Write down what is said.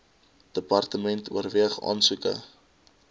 department oorweeg aansoeke